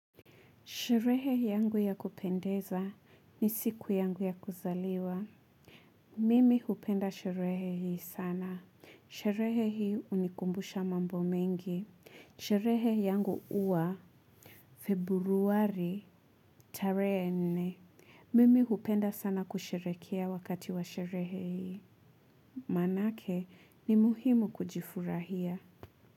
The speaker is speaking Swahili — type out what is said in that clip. Sherehe yangu ya kupendeza ni siku yangu ya kuzaliwa. Mimi hupenda sherehe hii sana. Sherehe hii unikumbusha mambo mengi. Sherehe yangu huwa februari tarehe nne. Mimi hupenda sana kusherekea wakati wa sherehe hii. Manake ni muhimu kujifurahia.